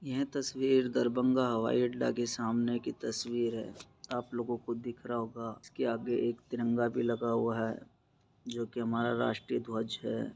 यह तस्वीर दरभंगा हवाई अड्डा के सामने की तस्वीर है आप लोगों को दिख रहा होगा उसके आगे एक तिरंगा भी लगा हुआ है जो कि हमारा राष्ट्रीय ध्वज है।